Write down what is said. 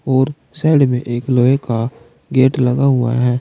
और साइड में एक लोहे का गेट लगा हुआ है।